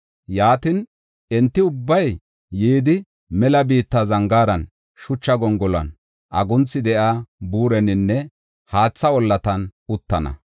Yaatin, enti ubbay yidi, mela biitta zangaaran, shucha gongolon, agunthi de7iya buureninne haatha ollatan uttana.